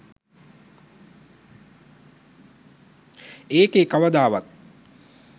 එකේ කවදාවත්